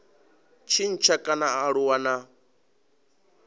tshintsha kana a aluwa na